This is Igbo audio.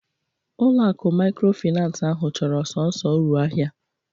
Ulo akụ maykrofinans ahụ chọrọ sọnsọ uru ahịa